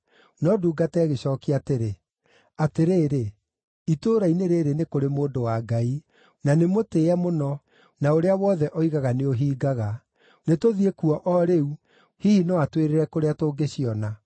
No ndungata ĩgĩcookia atĩrĩ, “Atĩrĩrĩ, itũũra-inĩ rĩĩrĩ nĩ kũrĩ mũndũ wa Ngai; na nĩ mũtĩĩe mũno, na ũrĩa wothe oigaga nĩũhingaga. Nĩtũthiĩ kuo o rĩu. Hihi no atwĩrĩre kũrĩa tũngĩciona.”